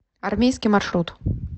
армейский маршрут